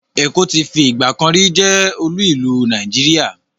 Èkó ti fi ìgbàkanrí jẹ́ olú ìlú Nàìjíríà.